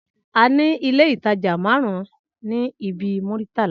Aní ilé ìtajà marun ní ibi Muritala